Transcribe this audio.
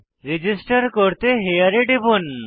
register করতে here এ টিপুন